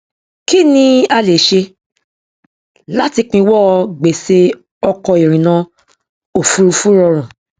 kí ni a lè ṣe láti pinwọ gbèṣè ọkọ ìrìnà òfurufú rọrun